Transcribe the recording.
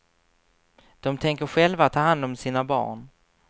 De tänker själva ta hand om sina barn.